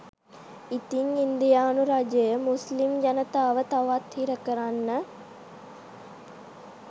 ඉතින් ඉන්දියානු රජය මුස්ලිම් ජනතාව තවත් හිරකරන්න